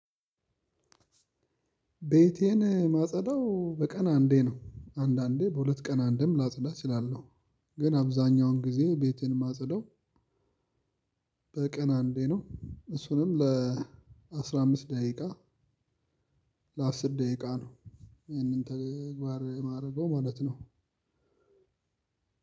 ቤቴን ማጸዳው በቀን አንዴ ነው አንዳንዴ በሁለት ቀን አንዴም ላጸዳ እችላለሁ። ግን አብዛኛውን ጊዜ ቤቴን ማጸዳው። በቀን አንዴ ነው እሱንም ለአስራ አምስት ደቂቃ። ለአስር ደቂቃ ነው። ይሄንን ተግባር የማደርገው ማለት ነው።